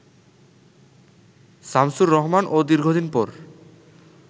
শামসুর রহমান ও দীর্ঘদিন পর